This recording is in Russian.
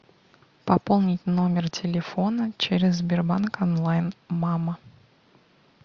пополнить номер телефона через сбербанк онлайн мама